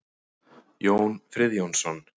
Jón Friðjónsson.